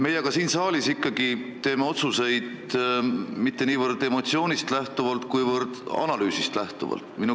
Meie siin saalis teeme otsuseid aga ikkagi mitte niivõrd emotsioonist, kuivõrd analüüsist lähtuvalt.